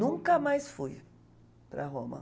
Nunca mais fui para Roma.